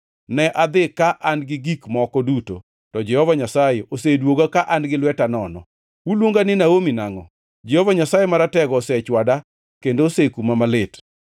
Ne adhi ka an-gi gik moko duto, to Jehova Nyasaye oseduoga ka an-gi lweta nono. Uluonga ni Naomi nangʼo? Jehova Nyasaye Maratego osechwada kendo osekuma malit.”